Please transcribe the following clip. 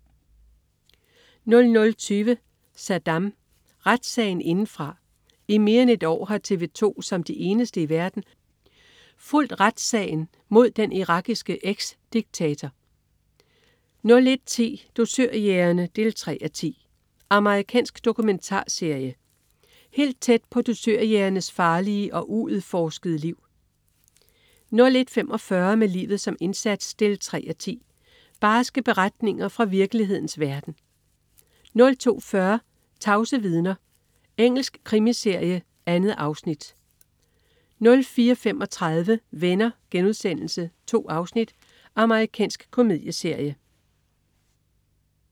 00.20 Saddam. Retssagen indefra. I mere end et år har TV 2 som de eneste i verden fulgt retssagen mod den irakiske eksdiktator 01.10 Dusørjægerne 3:10. Amerikansk dokumentarserie. Helt tæt på dusørjægernes farlige og uudforskede liv 01.45 Med livet som indsats 3:10. Barske beretninger fra virkelighedens verden 02.40 Tavse vidner. Engelsk krimiserie. 2 afsnit 04.35 Venner.* 2 afsnit. Amerikansk komedieserie